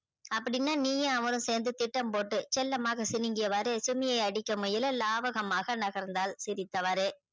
அப்படினா நீயும் அவரும் சேந்து திட்டம் போட்டு செல்லமாக சினிங்கிய வாறு அடிக்க முயல லாபகமாக நகர்ந்தால் சிரித்த வாறு